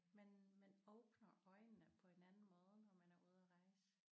Man man åbner øjnene på en anden måde når man er ude at rejse